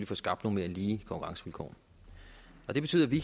får skabt nogle mere lige konkurrencevilkår det betyder at vi